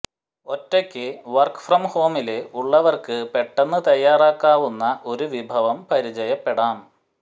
ഒറ്റയ്ക്ക് work from ഹോമില് ഉള്ളവര്ക്ക് പെട്ടെന്ന് തയ്യാറാക്കാവുന്ന ഒരു വിഭവം പരിചയപ്പെടാം